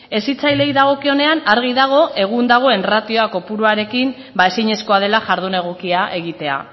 hezitzaileei dagokionean argi dago egun dagoen ratioa kopuruarekin ezinezkoa dela jardun egokia egitea